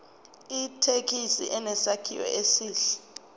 ithekisi inesakhiwo esihle